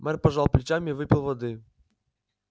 мэр пожал плечами и выпил воды